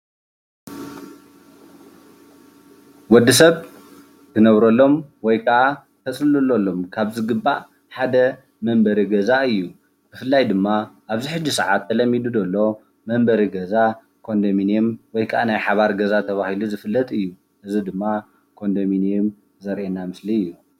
ወዲሰብ ዝነብረሎም ወይ ከዓ ዘፅልለሎም ካብ ዝግባእ ሓደ መንበሪ ገዛ እዩ። ብፍላይ ድማ ኣብዚ ሕጂ ሰዓት ተለሚዱ ደሎ መንበሪ ገዛ ኮንደምኒየም ወይ ከዓ ናይ ሓባር ገዛ ተባሂሉ ዝፍለጥ እዩ። እዚ ድማ ኮንደምኔም ዘሪኤና ምስሊ እዩ።